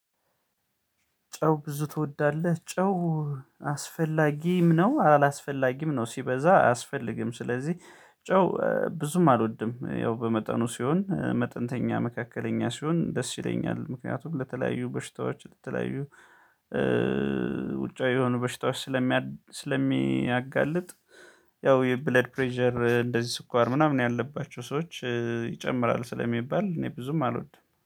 ጨው ብዙ ትወዳለህ? ጨው አስፈላጊም ነው አላስፈላጊም ነው ሲበዛ አያስፈልግም። ስለዚህ ጨው ብዙም አልወድም። ያው በመጠኑ ሲሆን መጠንተኛ መካከለኛ ሲሆን ደስ ይለኛል። ምክንያቱም ለተለያዩ በሽታዎች ለተለያዩ ውጫዊ የሆኑ በሽታዎች ስለሚ ስለሚያጋልጥ። ያው የብለድ ፕሬዠር እንደዚህ ስኳር ምናምን ያለባቸው ሰዎች ይጨምራል ስለሚባል እኔ ብዙም አልወድም